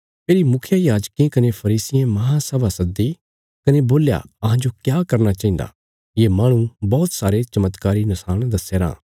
फेरी मुखियायाजकें कने फरीसियें महासभा सद्दी कने बोल्या अहांजो क्या करना चाहिन्दा ये माहणु बौहत सारे चमत्कारी नशाण दस्यारां